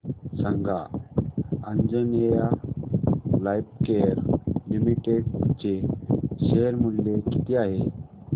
सांगा Anjaneya Lifecare Limited चे share मूल्य किती आहे